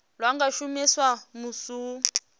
lwa nga shumiswa musi hu